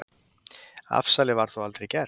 Afsalið var þó aldrei gert.